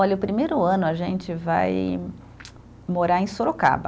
Olha, o primeiro ano a gente vai morar em Sorocaba.